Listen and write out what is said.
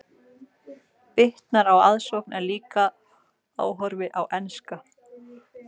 Bitnar á aðsókn en líka áhorfi á enska.